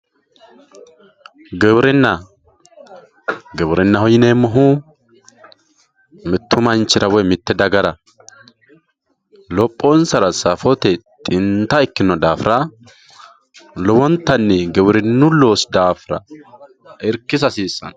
giwirinna giwirinnaho yineemohu mittu manchira woye mitte dagara lophonsara safote xinta ikino daafira lowonttanni giwirinnu loosi daafira irkisa hasiissanno.